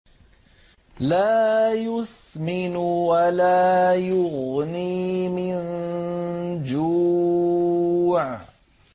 لَّا يُسْمِنُ وَلَا يُغْنِي مِن جُوعٍ